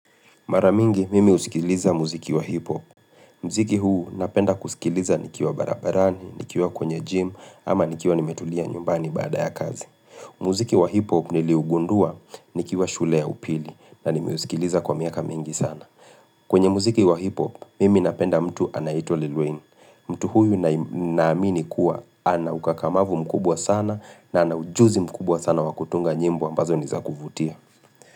Mara mingi, mimi husikiliza muziki wa hip-hop. Muziki huu napenda kusikiliza nikiwa barabarani, nikiwa kwenye gym, ama nikiwa nimetulia nyumbani baada ya kazi. Muziki wa hip-hop niliugundua nikiwa shule ya upili na nime usikiliza kwa miaka mingi sana. Kwenye muziki wa hip-hop, mimi napenda mtu anaitwa Lilloin. Mtu huyu naamini kuwa anaukakamavu mkubwa sana na ana ujuzi mkubwa sana wakutunga nyimbo ambazo nizakuvutia.